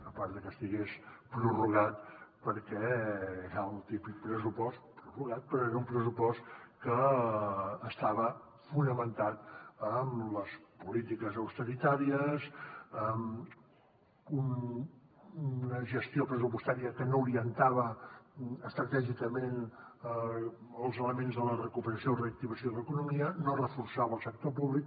a part de que estigués prorrogat perquè era el típic pressupost prorrogat però era un pressupost que estava fonamentat en les polítiques d’austeritat en una gestió pressupostària que no orientava estratègicament els elements de la recuperació o reactivació de l’economia no reforçava el sector públic